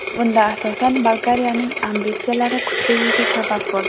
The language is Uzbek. Bunda, asosan, Bolgariyaning ambitsiyalari kuchliligi sabab bo‘ldi.